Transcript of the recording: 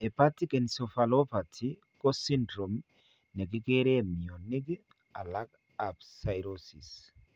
Hepatic encephalopathy ko syndrome nekikereen mionik alak ab cirrhosis